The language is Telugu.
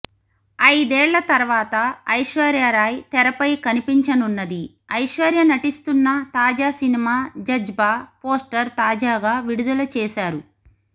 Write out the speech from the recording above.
ఐదేళ్ళ తర్వాత ఐశ్వర్యరాయ్ తెరపై కనిపించనున్నది ఐశ్వర్య నటిస్తున్న తాజా సినిమా జజ్బా పోస్టర్ తాజాగా విడుదల చేశారు